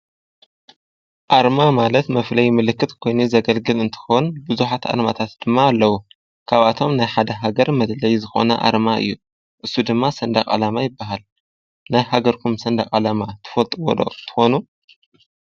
ኣርማ ማለት መፍለይ ምልክት ኮይኑ ዘገልግል እንተኾን ብዙኃት ኣርማታት ድማ ኣለዉ ካብኣቶም ናይ ሓደ ሃገር መድለይ ዝኾነ ኣርማ እዩ እሱ ድማ ሠንዳ ቓላማ ይበሃል ናይ ሃገርኩም ሠንዳ ቓላማ ትፈልጥ ዎዶ ትኾኑ።